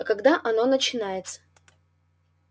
а когда оно начинается